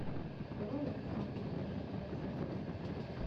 давай я посмотрю атака большой задницы